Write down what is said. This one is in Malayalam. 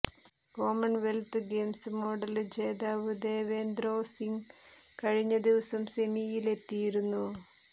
കോമണ്വെല്ത്ത് ഗെയിംസ് മെഡല് ജേതാവ് ദേവേന്ദ്രോ സിംഗ് കഴിഞ്ഞ ദിവസം സെമിയിലെത്തിയിരുന്നു